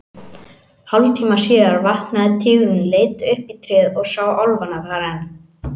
Hálftíma síðar vaknaði tígurinn, leit upp í tréð og sá álfana þar enn.